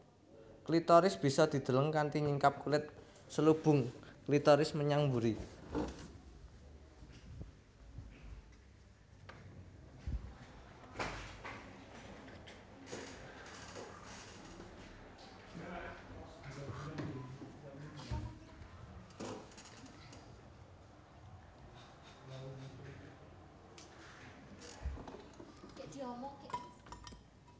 Klitoris bisa dideleng kanthi nyingkap kulit selubung klitoris menyang mburi